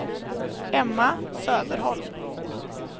Emma Söderholm